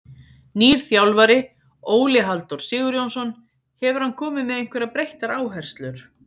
Nýr þjálfari, Óli Halldór Sigurjónsson, hefur hann komið með einhverjar breyttar áherslur?